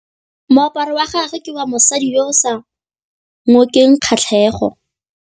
Moaparô wa gagwe ke wa mosadi yo o sa ngôkeng kgatlhegô.